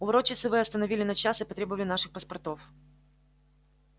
у ворот часовые остановили на час и потребовали наших паспортов